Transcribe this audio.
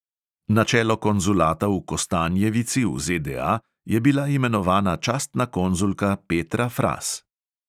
Na čelo konzulata v kostanjevici v ZDA je bila imenovana častna konzulka petra fras.